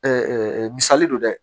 misali don dɛ